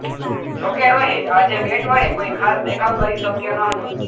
જોકે રોહિત આજે બેટ વડે કોઈ ખાસ દેખાવ કરી શક્યો ન હતો